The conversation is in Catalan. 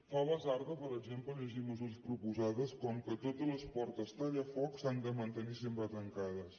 fa basarda per exemple llegir mesures proposades com que totes les portes tallafoc s’han de mantenir sempre tancades